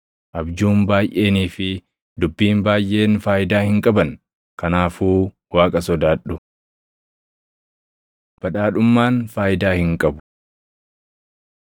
Abjuun baayʼeenii fi dubbiin baayʼeen faayidaa hin qaban. Kanaafuu Waaqa sodaadhu. Badhaadhummaan Faayidaa Hin qabu